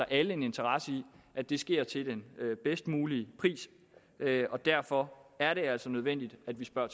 alle en interesse i at det sker til den bedst mulige pris og derfor er det altså nødvendigt at vi spørger